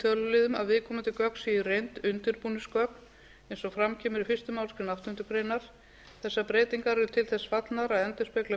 töluliðum að viðkomandi gögn séu í reynd undirbúningsgögn eins og fram kemur í fyrstu málsgrein áttundu greinar þessar breytingar eru til þess fallnar að endurspegla